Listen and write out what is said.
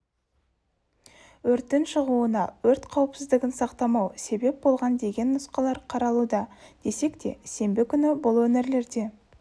өрттің шығуына өрт қауіпсіздігін сақтамау себеп болған деген нұсқалар қаралуда десек те сенбі күні бұл өңірлерде